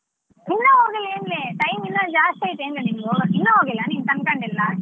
ಇನ್ನ ಹೋಗಿಲ್ಲ ಏನ್ಲೆ time ಇನ್ನ ಜಾಸ್ತಿ ಐತ ಏನ್ಲ ನಿಮ್ಗ್ ಹೋಗಕ್ಕೆ ಇನ್ನು ಹೋಗಿಲ್ಲ ನೀನ್ ತಂಕಂಡಿಲ್ಲ.